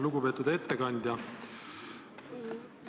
Lugupeetud ettekandja!